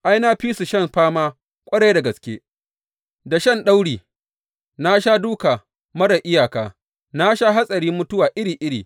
Ai, na fi su shan fama ƙwarai da gaske, da shan dauri, na sha dūka marar iyaka, na sha hatsarin mutuwa iri iri.